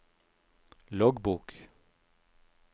loggbok